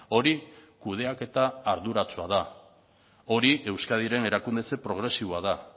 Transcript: hori kudeaketa arduratsua da hori euskadiren erakundetze progresiboa da